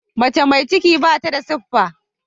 Mace mai ciki bata da siffa.